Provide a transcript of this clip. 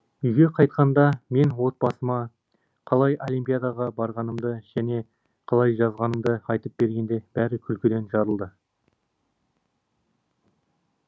үйге қайтқанда мен отбасыма қалай олимпиадаға барғанымды және қалай жазғанымды айтып бергенде бәрі күлкіден жарылды